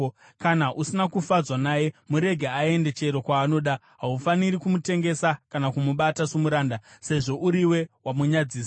Kana usina kufadzwa naye, murege aende chero kwaanoda. Haufaniri kumutengesa kana kumubata somuranda, sezvo uriwe wamunyadzisa.